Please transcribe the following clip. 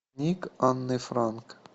ник анны франк